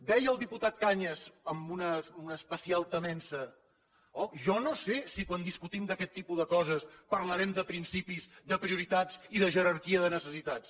deia el diputat cañas amb una especial temença oh jo no sé si quan discutim d’aquest tipus de coses parlarem de principis de prioritats i de jerarquia de necessitats